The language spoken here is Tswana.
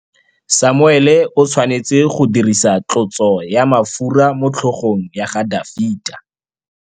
Samuele o tshwanetse go dirisa tlotsô ya mafura motlhôgong ya Dafita.